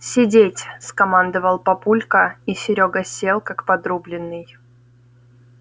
сидеть скомандовал папулька и серёга сел как подрубленный